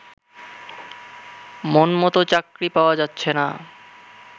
মনমত চাকুরী পাওয়া যাচ্ছে না